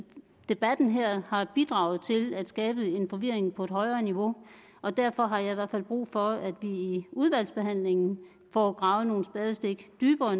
debatten her har bidraget til at skabe forvirring på et højere niveau og derfor har jeg i hvert fald brug for at vi i udvalgsbehandlingen får gravet nogle spadestik dybere